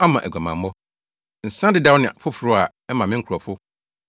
aguamammɔ, nsa dedaw ne foforo, a ɛma me nkurɔfo